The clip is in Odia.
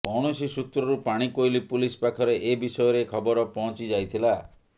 କୌଣସି ସୁତ୍ରରୁ ପାଣିକୋଇଲି ପୁଲିସ ପାଖରେ ଏ ବିଷୟରେ ଖବର ପହଁଚିଯାଇଥିଲା